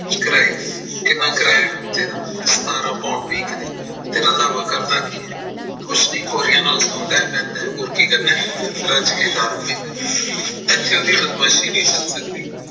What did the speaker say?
ਕਿੰਨਾ ਕਿਰਾਇਆ ਹਫਤੇ ਦਾ ਸਤਾਰਾ pound week ਦੇ ਤੇ ਰੰਧਾਵਾ ਕਰਦਾ ਕੀ ਹੈ ਕੁਛ ਨੀ ਗੋਰੀਆਂ ਨਾਲ ਰਹਿੰਦਾ ਐ ਸੋਦਾ ਹੈ ਰਜ ਕੇ ਦਾਰੂ ਪੀਂਦਾ ਐ ਐਥੇ ਉਹਦੀ ਬਦਮਾਸ਼ੀ ਨੀ ਚੱਲ ਸਕਦੀ